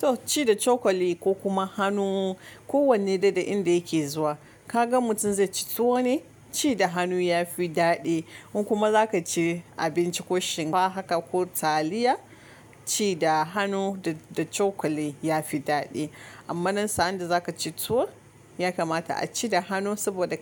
To ci da cokali ko kuma hanu ko wane da da inda yake zuwa kaga mutum zai ci tuwo ne? Ci da hanu ya fi daɗi. In kuma zaka ci abinci ko shinkafa ba haka ko taliya ci da hanu da cokali ya fi daɗi. Amma nan sa'anda zaka ci tuwo ya kamata a ci da hanu saboda